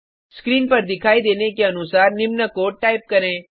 screen पर दिखाई देने के अनुसार निम्न कोड टाइप करें